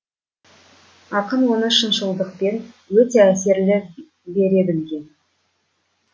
ақын оны шыншылдықпен өте әсерлі бере білген